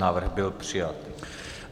Návrh byl přijat.